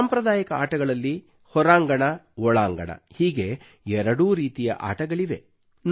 ಸಾಂಪ್ರದಾಯಿಕ ಆಟಗಳಲ್ಲಿ ಹೊರಾಂಗಣ ಒಳಾಂಗಣ ಹೀಗೆ ಎರಡೂ ರೀತಿಯ ಆಟಗಳಿವೆ